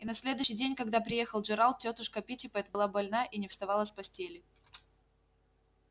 и на следующий день когда приехал джералд тётушка питтипэт была больна и не вставала с постели